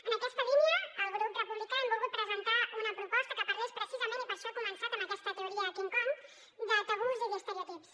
en aquesta línia al grup republicà hem volgut presentar una proposta que parlés precisament i per això he començat precisament amb aquesta teoria king kong de tabús i d’estereotips